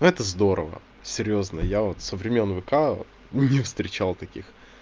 ну это здорово серьёзно вот я со времён вк ну не встречал таких